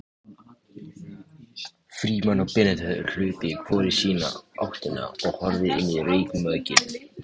Frímann og Benedikt höfðu hlaupið hvor í sína áttina og horfið inn í reykmökkinn.